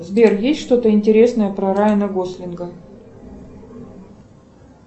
сбер есть что то интересное про райана гослинга